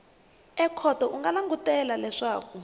ekhoto u nga langutela leswaku